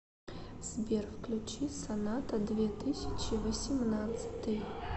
сбер включи соната две тысячи восемнадцатый